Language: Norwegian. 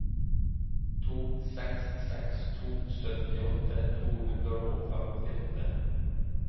to seks seks to syttiåtte to hundre og femtiåtte